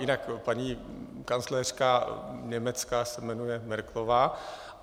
Jinak paní kancléřka Německa se jmenuje Merkelová.